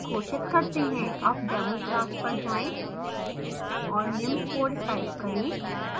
अब demo class पर जाएँ और निम्न code type करें